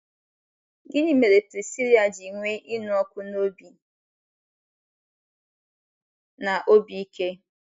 Gịnị mere Prisila ji nwee ịnụ ọkụ n’obi na obi ike?